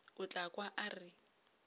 o tla kwa a re